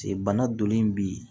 Se bana donnen bi